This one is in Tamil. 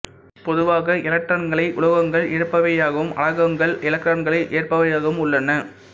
பொதுவாக எலக்ட்ரான்க்ளை உலோகங்கள் இழப்பவையாகவும் அலோகங்கள் எலக்ட்ரான்களை ஏற்பவையாகவும் உள்ளன